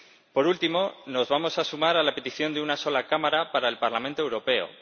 Por último, nos vamos a sumar a la petición de una sola cámara para el Parlamento Europeo.